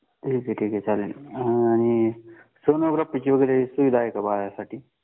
ठीक ठीक आहे चालेल आणि सोनोग्राफीची वगैरे सुविधा आहे का बाळासाठी